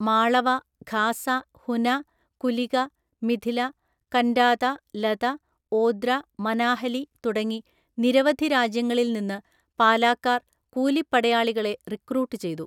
മാളവ, ഖാസ, ഹുന, കുലിക, മിഥില, കന്റാത, ലത, ഓദ്ര, മനാഹലി തുടങ്ങി നിരവധി രാജ്യങ്ങളിൽ നിന്ന് പാലാക്കാർ കൂലിപ്പടയാളികളെ റിക്രൂട്ട് ചെയ്തു.